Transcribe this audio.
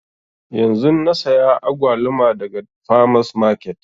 Yanzun na saya agwaluma daga farmers market